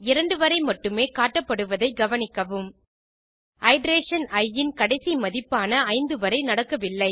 2 வரை மட்டுமே காட்டபப்டுவதை கவனிக்கவும் இட்டரேஷன் இ இன் கடைசி மதிப்பான 5 வரை நடக்கவில்லை